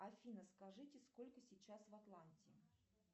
афина скажите сколько сейчас в атланте